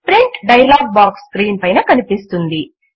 print dialog box screen పైన కనిపిస్తుంది